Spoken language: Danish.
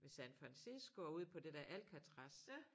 Ved San Fransisco ude på det der Alcatraz